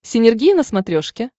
синергия на смотрешке